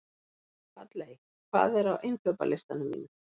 Halley, hvað er á innkaupalistanum mínum?